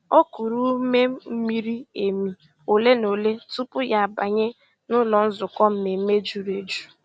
O kùrù ùmè mìrí èmì òlé na òlé tupu ya àbànyè n'ụ́lọ́ nzukọ́ mmèmme jùrù èjù.